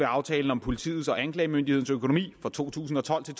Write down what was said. aftalen om politiets og anklagemyndighedens økonomi for to tusind og tolv til